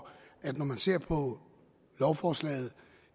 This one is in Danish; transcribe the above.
at det når man ser på lovforslaget og